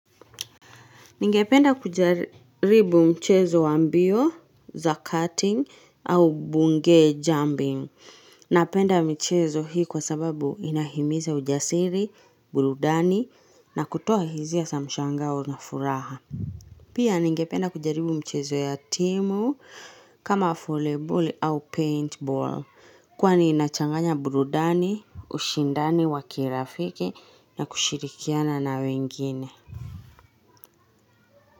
Ningependa kujaribu mchezo wa mbio za cutting au bungee jumping. Napenda michezo hii kwa sababu inahimiza ujasiri, burudani na kutoa hisia za mshangao na furaha. Pia ningependa kujaribu mchezo ya timu kama volley ball au paint ball kwani inachanganya burudani, ushindani wa kirafiki na kushirikiana na wengine.